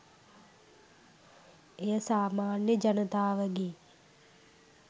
එය සාමාන්‍ය ජනතාවගේ